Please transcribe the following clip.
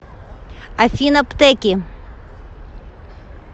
афина птэки